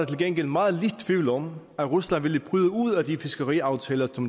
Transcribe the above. til gengæld meget lidt tvivl om at rusland ville bryde ud af de fiskeriaftaler